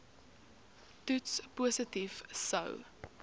toets positief sou